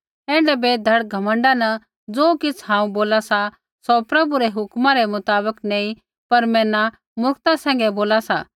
ऐण्ढै बेधड़क घमण्डा न ज़ो किछ़ हांऊँ बोला सा सौ प्रभु रै हुक्मा रै मुताबक नैंई पर मैना मुर्खता सैंघै बोला सा